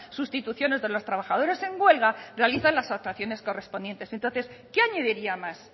sustituciones de los trabajadores en huelga realizan las actuaciones correspondientes entonces qué añadiría más